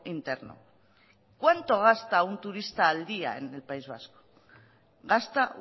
interno cuánto gasta un turista al día en el país vasco gasta